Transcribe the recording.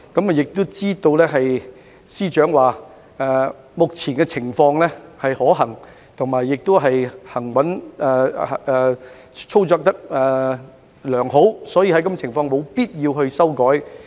我亦知道，司長曾表示目前的情況是可行的，而且操作良好，所以在這情況下，沒有必要作出修改。